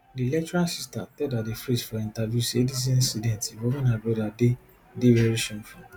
di lecturer sister tell daddy freeze for interview say dis incident involving her brother dey dey veri shameful